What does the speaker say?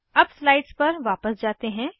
अब स्लाइड्स पर वापस जाते हैं